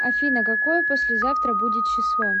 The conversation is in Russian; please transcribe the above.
афина какое послезавтра будет число